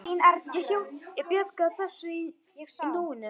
Ég bjargar þessu á nóinu.